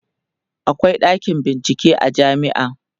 akwai ɗakin bincike a jamia